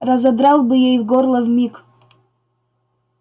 разодрал бы ей горло вмиг